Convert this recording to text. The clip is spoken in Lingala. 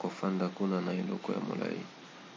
kofanda kuna na eleko ya molai